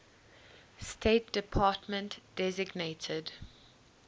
state department designated